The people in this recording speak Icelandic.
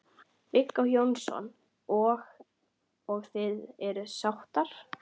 Viggó Jónsson: Og, og þið eruð sáttar?